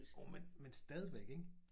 Jo men men stadigvæk ikke